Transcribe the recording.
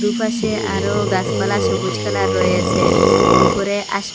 দুপাশে আরও গাসপালা সবুজ কালার রয়েসে উপরে আশ--